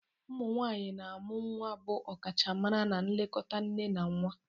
Ụmụ nwaanyị na-amụ nwa bụ ọkachamara na nlekọta nne na nwa.